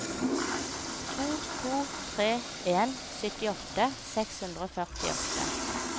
to to tre en syttiåtte seks hundre og førtiåtte